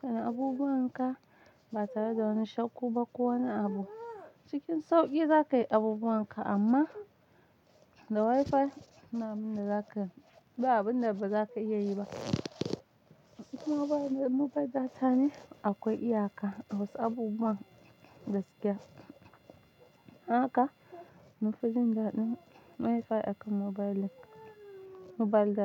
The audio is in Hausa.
Kana abubuwanka ba tare da wani shukku ba ko wani abu. Cikin sauƙi zakayi abubuwanka amma da Wi-Fi na min dazaka, ba abunda bazaka iyayi ba. Mobile mobile data ne akwai iyaka a wasu abubuwan gaskiya. Haka, munfi jin daɗin Wi-Fi akan mobile mobile data.